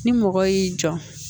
Ni mɔgɔ y'i jɔ